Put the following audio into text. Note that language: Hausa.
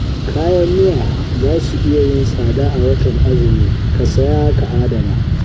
Kayan miya za su iya yin tsada a watan azumi, ka saya ka adana